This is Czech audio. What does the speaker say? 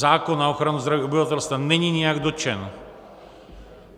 Zákon na ochranu zdraví obyvatelstva není nijak dotčen.